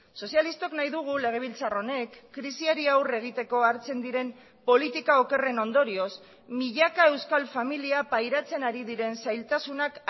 sozialistok nahi dugu legebiltzar honek krisiari aurre egiteko hartzen diren politika okerren ondorioz milaka euskal familia pairatzen ari diren zailtasunak